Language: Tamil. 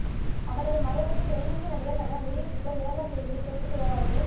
அவரது மறைவுக்கு தென்னிந்திய நடிகர் சங்கம் வெளியிட்டுள்ள இரங்கல் செய்தியில் தெரிவித்துள்ளதாவது